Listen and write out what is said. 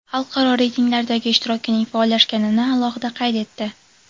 xalqaro reytinglardagi ishtirokining faollashganini alohida qayd etdi.